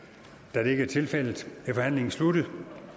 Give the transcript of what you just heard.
da det ikke er tilfældet er forhandlingen sluttet